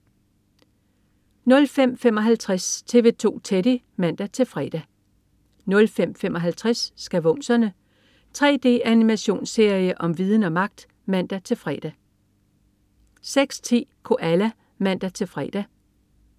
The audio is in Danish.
05.55 TV 2 Teddy (man-fre) 05.55 Skavumserne. 3D-animationsserie om viden og magt! (man-fre) 06.10 Koala (man-fre)